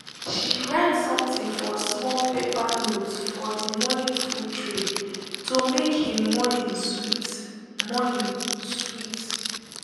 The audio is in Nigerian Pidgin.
she write something for small paper note for the morning food tray to make him morning sweet. morning sweet.